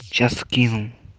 сейчас скину